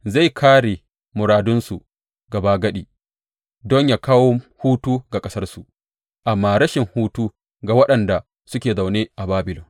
Zai kāre muradunsu gabagadi don yă kawo hutu ga ƙasarsu, amma rashin hutu ga waɗanda suke zaune a Babilon.